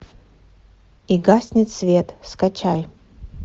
и гаснет свет скачай